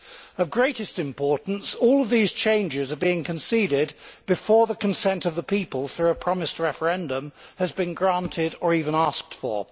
Of greatest importance, all of these changes are being conceded before the consent of the people through a promised referendum has been granted, or even asked for.